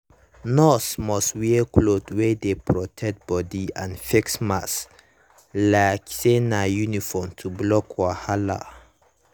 nurse must wear cloth wey dey protect body and face mask like say na uniform to block wahala.